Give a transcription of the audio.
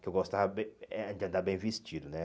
Que eu gostava bem eh de andar bem vestido né.